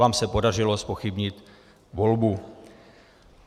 Vám se podařilo zpochybnit volbu.